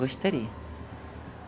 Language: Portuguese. Gostaria.